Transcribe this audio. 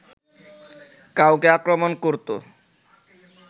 কাউকে আক্রমণ করতো